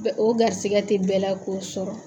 O garisigɛ tɛ bɛɛ la k'o sɔrɔ.